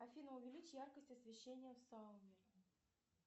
афина увеличь яркость освещения в сауне